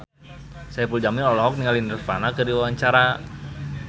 Saipul Jamil olohok ningali Nirvana keur diwawancara